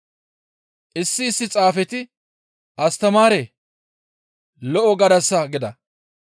Issi issi xaafeti, «Astamaaree! Lo7o gadasa» gida.